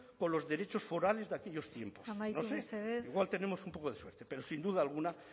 con los derechos forales de aquellos tiempos amaitu mesedez no sé igual tenemos un poco de suerte pero sin duda alguna